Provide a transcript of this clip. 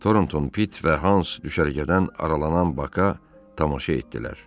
Torton Pit və Hans düşərgədən aralanan Baka tamaşa etdilər.